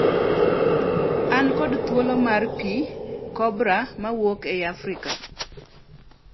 An kod thuol mar pi (kobra) mawuok e Afrika.